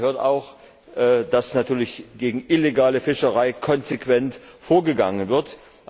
Dazu gehört auch, dass natürlich gegen illegale Fischerei konsequent vorgegangen wird.